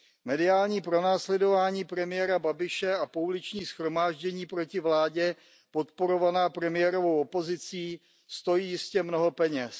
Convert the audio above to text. Mediální pronásledování premiéra Babiše a pouliční shromáždění proti vládě podporovaná premiérovou opozicí stojí jistě mnoho peněz.